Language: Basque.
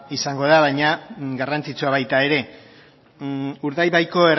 izango da baina garrantzitsua baita ere urdaibaiko